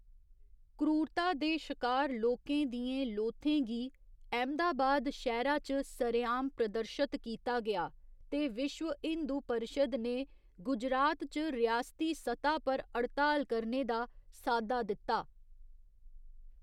क्रूरता दे शकार लोकें दियें लोथें गी अहमदाबाद शैह्‌रा च सरेआम प्रदर्शत कीता गेआ ते विश्व हिंदू परिशद ने गुजरात च रियासती सतह पर हड़ताल करने दा साद्दा दित्ता।